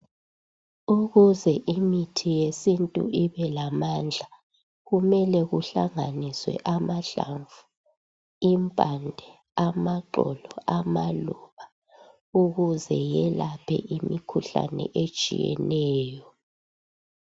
Ukuze imithi yesintu ibelamandla kumele kuhlanganiswe amahlamvu impande amaxolo amaluba ukuze iyelaphe imkhuhlane etshiyeneyo